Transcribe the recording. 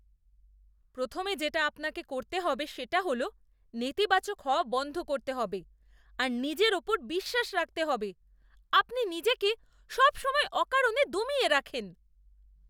প্রথমে যেটা আপনাকে করতে হবে সেটা হল নেতিবাচক হওয়া বন্ধ করতে হবে আর নিজের ওপর বিশ্বাস রাখতে হবে। আপনি নিজেকে সব সময় অকারণে দমিয়ে রাখেন।